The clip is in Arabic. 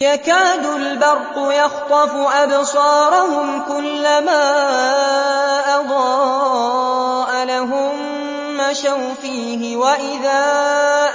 يَكَادُ الْبَرْقُ يَخْطَفُ أَبْصَارَهُمْ ۖ كُلَّمَا أَضَاءَ لَهُم مَّشَوْا فِيهِ وَإِذَا